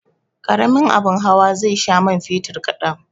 Karamin abin hawa zai sha man fetur kadan.